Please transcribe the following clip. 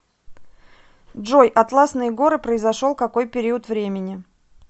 джой атласные горы произошел какой период времени